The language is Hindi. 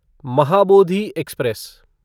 महाबोधि एक्सप्रेस